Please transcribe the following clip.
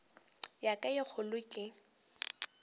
ya ka ye kgolo ke